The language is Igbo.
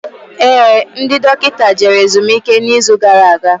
Éè, ndị dọkịta jere ezumike na izu gara aga